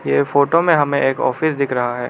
ये फोटो में हमें एक ऑफिस दिख रहा है।